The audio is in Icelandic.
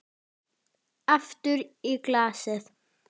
Aftur í glasið.